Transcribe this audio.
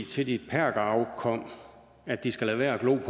til dit perkerafkom at de skal lade være at glo